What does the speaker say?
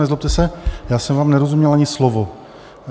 Nezlobte se, já jsem vám nerozuměl ani slovo.